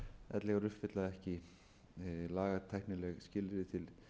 ellegar uppfylla ekki lagatæknileg skilyrði til